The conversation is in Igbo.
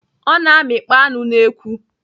Ọ na-amịkpọ anụ n'ekwu.